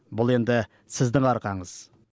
бұл енді сіздің арқаңыз